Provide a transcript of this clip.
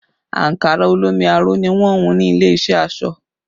Ankara olómi aró ni wọn hùn ní ilé iṣẹ́ aṣọ